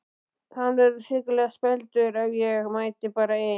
Hann verður hrikalega spældur ef ég mæti bara ein!